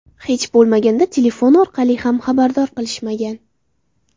Hech bo‘lmaganda telefon orqali ham xabardor qilishmagan.